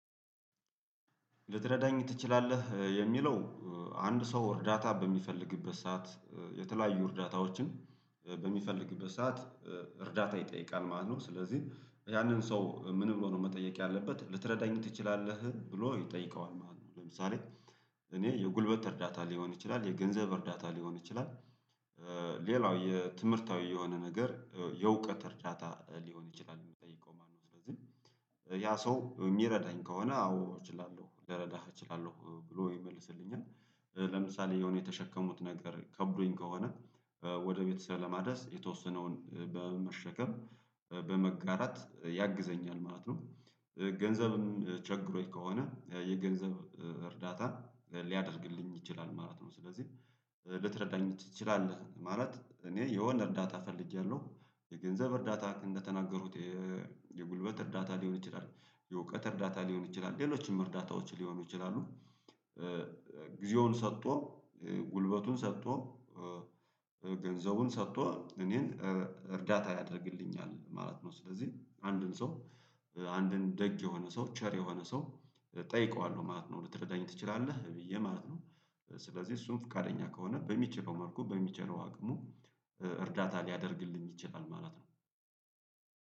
ልትረዳኝ ትችላለህ የሚለው? አንድ ሰው እርዳታ በሚፈልግበት ሰዓት የተለያዩ እርዳታዎችን ኧ በሚፈልግበት ሰዓት እርዳታ ይጠይቃል ማለት ነው ስለዚህ ያንን ሰው ምን ብሎ ነው መጠየቅ ያለበት ልትረዳኝ ትችላለህ ብሎ ይጠይቀዋል ማለት ነው። ለምሳሌ እኔ የጉልበት እርዳታ ሊሆን ይችላል የገንዘብ እርዳታ ሊሆን ይችላል ኧ ሌላው የትምህርታዊ የሆነ ነገር የእዕውቀት እርዳታ ሊሆን ይችላል እሚጠይቀው ማለት ነው። ስለዚህ ያ ሰው እሚረዳኝ ከሆነ አዎ እችላለሁ ልረዳህ እችላለሁ ብሎ ይመልስልኛል። ለምሳሌ የሆነ የተሸከሙት ነገር ከብዶኝ ከሆነ ወደ ቤተሰብ ለማድረስ የተወሰነውን በመሸከም በመጋራት ያግዘኛል ማለት ነው። ገንዘብም ችግሮኝ ከሆነ የገንዘብ እርዳታ ሊያደርግልኝ ይችላል ማለት ነው። ስለዚህ ልትረዳኝ ትችላለህ ማለት እኔ የሆነ እርዳታ ፈልጌያለሁ የገንዘብ እርዳታ እንደተናገሩት የጉልበት እርዳታ ሊሆን ይችላል የእውቀት እርዳታ ሊሆን ይችላል ሌሎችም እርዳታዎች ሊሆኑ ይችላሉ። ጊዜውን ሰጥቶ ጉልበቱን ሰጥቶ ገንዘቡን ሰጥቶ እኔን እርዳታ ያደርግልኛል ማለት ነው። ስለዚህ አንድን ሰው አንድን ደግ የሆነ ሰው ቸር የሆነ ሰው እጠይቀዋለሁ ማለት ነው። ልትረዳኝ ትችላለህ ብዬ ማለት ነው። ስለዚህ እሱም ፍቃደኛ ከሆነ በሚችለው መልኩ በሚችለው አቅሙ እርዳታ ሊያደርግልኝ ይችላል ማለት ነው።